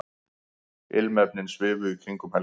Ilmefnin svifu í kringum Helgu.